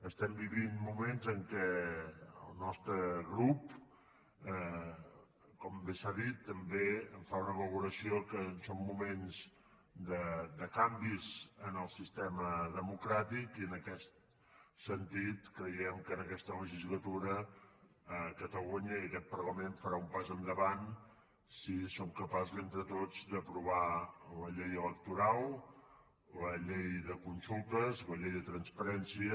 estem vivint moments que el nostre grup com bé s’ha dit en fa una valoració que són moments de canvis en el sistema democràtic i en aquest sentit creiem que en aquesta legislatura catalunya i aquest parlament faran un pas endavant si som capaços entre tots d’aprovar la llei electoral la llei de consultes la llei de transparència